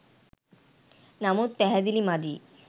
නමුත් පැහැදිලි මදිය